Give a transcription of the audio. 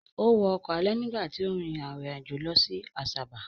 Ó wọ ọkọ̀ alẹ̀ nígbà tí ó rin ìrìn àjò lọ sí Asaba.